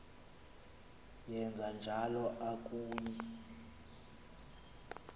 wenje njalo akuyi